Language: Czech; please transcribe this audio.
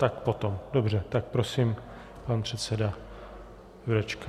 Tak potom, dobře, tak prosím pan předseda Jurečka.